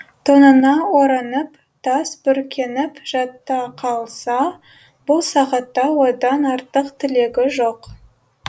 тонына оранып тас бүркеніп жата қалса бұл сағатта одан артық тілегі жоқ